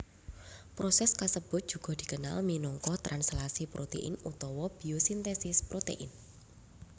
Proses kasebut juga dikenal minangka translasi protein utawa biosintesis protein